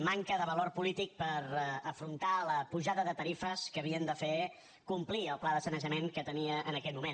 manca de valor polític per afrontar la pujada de tarifes que havien de fer complir el pla de sanejament que tenia en aquell moment